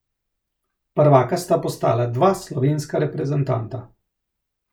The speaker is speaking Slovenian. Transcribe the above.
Prvaka sta postala dva slovenska reprezentanta.